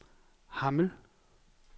Hammel